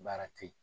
Baara te yen